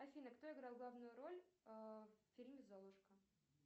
афина кто играл главную роль в фильме золушка